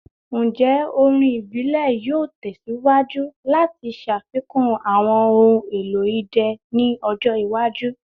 Njẹ orin ibile yoo tẹsiwaju lati ṣafikun awọn ohun elo idẹ ni ọjọ iwaju?